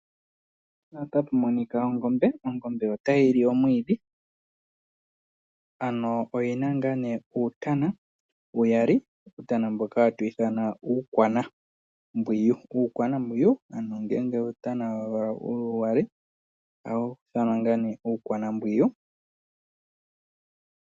Ongombe oyo oshitekulwanamwenyo shoka hashi li omwiidhi . Oongombe oonkiintu ohadhi vala uutana.